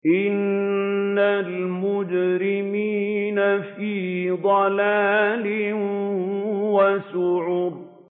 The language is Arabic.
إِنَّ الْمُجْرِمِينَ فِي ضَلَالٍ وَسُعُرٍ